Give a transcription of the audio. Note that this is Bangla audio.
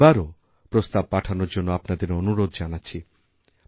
আমি এবারওপ্রস্তাব পাঠানোর জন্য আপনাদের অনুরোধ জানাচ্ছি